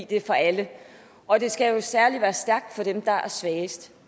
det er for alle og det skal jo særlig være stærkt for dem der er svagest